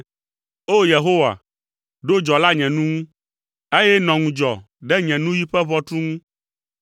O! Yehowa, ɖo dzɔla nye nu ŋu, eye nɔ ŋudzɔ ɖe nye nuyi ƒe ʋɔtru ŋu.